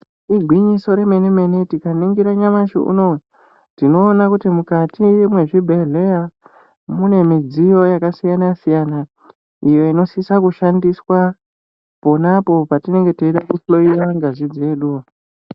Igwinyiso remenemene tikaningira nyamashi unotiona kuti mukati mwezvibhehleya munemudziyo yakasiyana siyana iyo inosisa kushandiswa pona apo patinenge teida kuhloiwa ngazi dzedu.